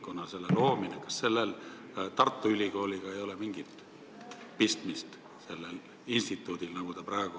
Kas sellel instituudil, nagu praegu kavas on, Tartu Ülikooliga ei ole mingit pistmist?